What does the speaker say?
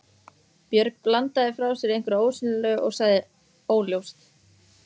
Björg bandaði frá sér einhverju ósýnilegu og sagði: Óljóst.